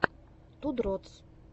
ту дротс